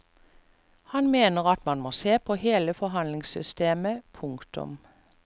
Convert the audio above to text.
Han mener at man må se på hele forhandlingssystemet. punktum